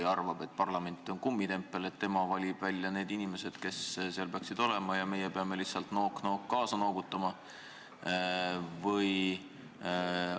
Kas ta arvab, et parlament on kummitempel, et tema valib välja need inimesed, kes nõukogus peaksid olema, ja meie peame lihtsalt nook-nook kaasa noogutama?